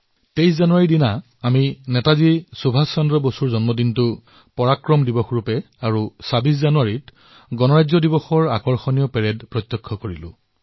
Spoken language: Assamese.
২৩ জানুৱাৰী তাৰিখে আমি নেতাজী সুভাষ চন্দ্ৰ বসুৰ জন্মদিনটো পৰাক্ৰম দিৱস হিচাপে পালন কৰিলো আৰু ২৬ জানুৱাৰী তাৰিখে গণতন্ত্ৰ দিৱসৰ অতুলনীয় পেৰেডো প্ৰত্যক্ষ কৰিলো